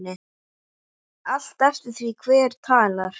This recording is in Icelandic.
Allt eftir því hver talar.